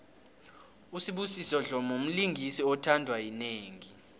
usibusiso dlomo mlingisi othandwa yinengi